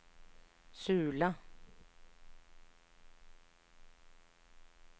Sula